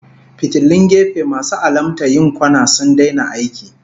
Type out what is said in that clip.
Fitilun gefe masu alamta yin kwana sun daina aiki